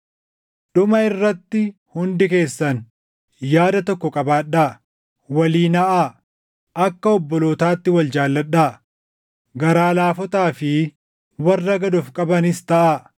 Dhuma irratti hundi keessan yaada tokko qabaadhaa; walii naʼaa; akka obbolootaatti wal jaalladhaa; garaa laafotaa fi warra gad of qabanis taʼaa.